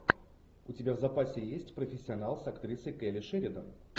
у тебя в запасе есть профессионал с актрисой келли шеридан